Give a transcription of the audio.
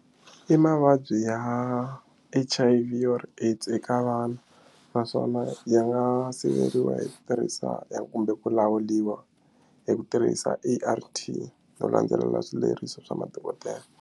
I mavabyi ya H_I_V or AIDS eka vana naswona ya nga siveriwa hi ku tirhisa kumbe ku lawuriwa hi ku tirhisa A_R_T no landzelela swileriso swa madokodela.